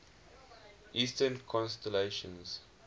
eastern constellations